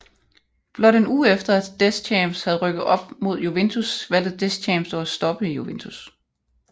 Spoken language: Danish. Blot en uge efter at Deschamps havde rykket op med Juventus valgte Deschamps dog at stoppe i Juventus